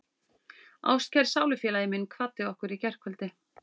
Ástkær sálufélagi minn kvaddi okkur í gærkvöldi.